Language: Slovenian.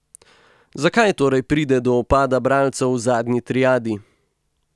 Zakaj torej pride do upada bralcev v zadnji triadi?